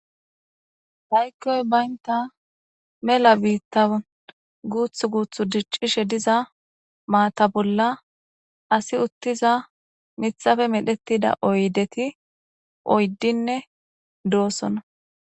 Aykon banta melan bitan guthu guthu dicishe diza maata bolla asi uttiza mithape medhetida oydeti oydine doosona